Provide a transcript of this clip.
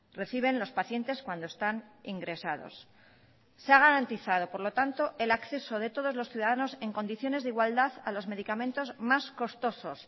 reciben los pacientes cuando están ingresados se ha garantizado por lo tanto el acceso de todos los ciudadanos en condiciones de igualdad a los medicamentos más costosos